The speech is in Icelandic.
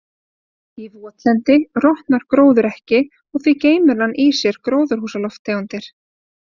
Í votlendi rotnar gróður ekki og því geymir hann í sér gróðurhúsalofttegundir.